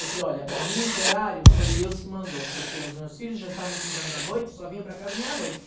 Eu falei, olha, para mim esse horário foi Deus que mandou, porque os meus filhos já estavam estudando à noite, só vinham para casa meia-noite.